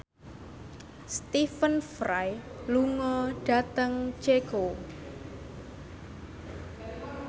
Stephen Fry lunga dhateng Ceko